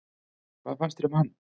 Hvað fannst þér um hann?